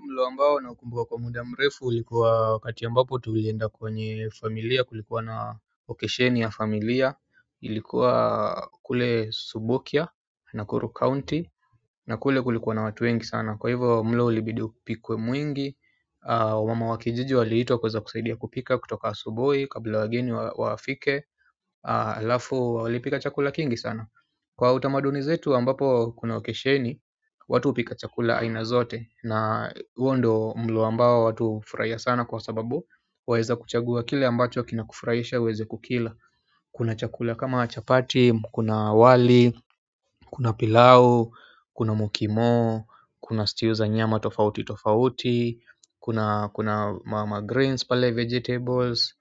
Mlo ambao na ukumbuka kwa muda mrefu ulikuwa wakati ambapo tulienda kwenye familia kulikuwa na okesheni ya familia ilikuwa kule subukia Nakuru county na kule kulikuwa na watu wengi sana kwa hivyo mlo ulibidi upikwe mwingi. Wamama wakijiji waliitwa kuweza kusaidia kupika kutoka asubuhi kabla wageni wafike halafu walipika chakula kingi sana kwa utamaduni zetu ambapo kuna okesheni watu hupika chakula aina zote na huo ndio mlo ambao watu hufurahia sana kwa sababu waweza kuchagua kile ambacho kina kufurahisha uweze kukila kuna chakula kama chapati, kuna wali, kuna pilau, kuna mukimo, kuna stew za nyama tofauti tofauti kuna greens pale, vegetables,